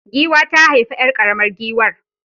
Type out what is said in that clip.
Giwa ta haifi 'yar karamar giwar